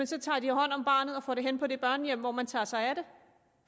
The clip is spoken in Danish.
så tager hånd om barnet og får det hen på det børnehjem hvor man tager sig af det